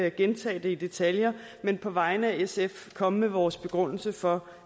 ikke gentage det i detaljer men på vegne af sf komme med vores begrundelse for